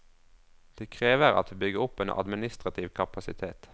Det krever at vi bygger opp en administrativ kapasitet.